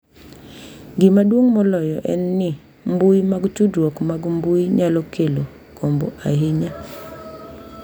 Gima duong’ moloyo en ni, mbui mag tudruok mag mbui nyalo kelo gombo ahinya.